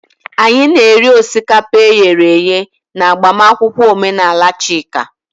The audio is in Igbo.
Anyị na-eri osikapa e ghere eghe na agbamakwụkwọ omenala Chika.